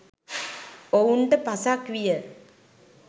ඔවුන්ට පසක් විය.